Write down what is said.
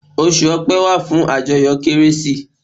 Osù ọ̀pe wà fún àjọyọ̀ kérésì